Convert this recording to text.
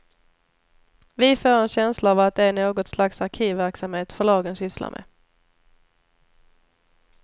Vi får en känsla av att det är något slags arkivverksamhet förlagen sysslar med.